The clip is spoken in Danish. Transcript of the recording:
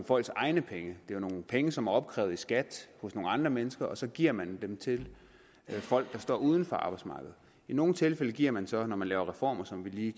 folks egne penge det er jo nogle penge som er opkrævet i skat hos nogle andre mennesker og så giver man dem til folk der står uden for arbejdsmarkedet i nogle tilfælde giver man så når man laver reformer som vi lige